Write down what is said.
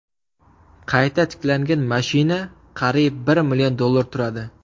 Qayta tiklangan mashina qariyb bir million dollar turadi.